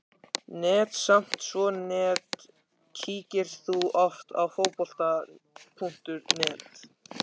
nett, samt svo nett Kíkir þú oft á Fótbolti.net?